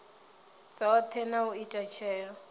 dzothe na u ita tsheo